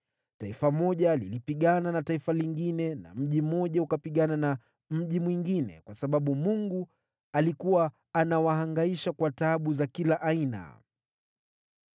Taifa moja lilipigana na taifa lingine na mji mmoja ukapigana na mji mwingine, kwa sababu Mungu alikuwa anawahangaisha kwa taabu za kila aina.